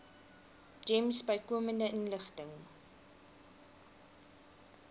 gems bykomende inligting